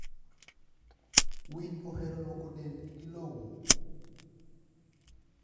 Winy ohero lwoko dend gi lowo.